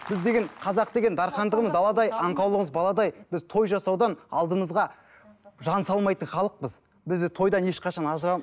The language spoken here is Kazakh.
біз деген қазақ деген дархандығымыз даладай аңқаулығымыз баладай біз той жасаудан алдымызға жан салмайтын халықпыз бізді тойдан ешқашан